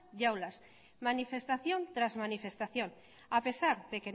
y aulas manifestación tras manifestación a pesar de